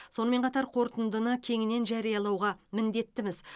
сонымен қатар қорытындыны кеңінен жариялауға міндеттіміз